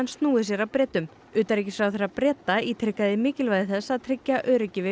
snúið sér að Bretum utanríkisráðherra Breta ítrekaði mikilvægi þess að tryggja öryggi við